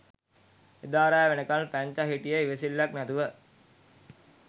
එදා රෑ වෙනකල් පැංචා හිටියේ ඉවසිල්ලක් නැතුව